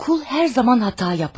Qul hər zaman səhv edər.